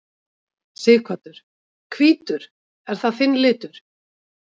Sighvatur: Hvítur, er það þinn litur?